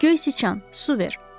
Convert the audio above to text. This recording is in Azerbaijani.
Göy siçan, su ver!